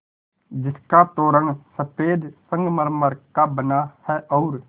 जिसका तोरण सफ़ेद संगमरमर का बना है और